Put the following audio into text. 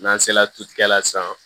N'an sera tutigɛla san